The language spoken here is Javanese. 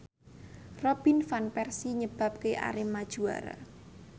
Robin Van Persie nyebabke Arema juara